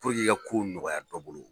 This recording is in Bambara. i ka kow nɔgɔya dɔ bolo